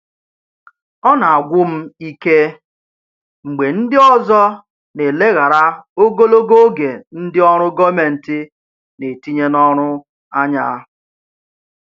Ọ na-agwụ m ike mgbe ndị ọzọ na-eleghara ogologo oge ndị ọrụ gọọmentị na-etinye n'ọrụ anya.